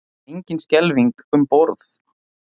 Engin skelfing um borð